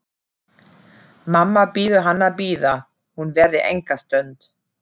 Mamma biður hann að bíða, hún verði enga stund.